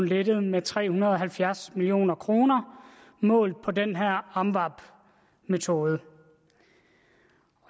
lettet med tre hundrede og halvfjerds million kroner målt med den her amvab metode